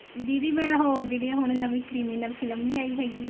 ਦੀਦੀ ਮੈਂ ਉਹ ਜਿਹੜੀਆਂ ਹੁਣ ਨਵੀ criminal ਫ਼ਿਲਮ ਨਹੀਂ ਆਈ ਹੈਗੀ